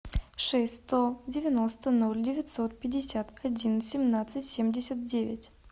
шесть сто девяносто ноль девятьсот пятьдесят один семнадцать семьдесят девять